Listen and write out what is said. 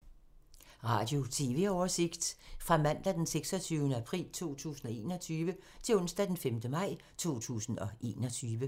Radio/TV oversigt fra mandag d. 26. april 2021 til onsdag d. 5. maj 2021